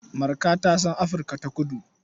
Marka ta san Afirka-ta-kudu.